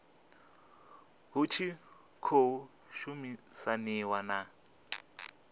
hu tshi khou shumisaniwa na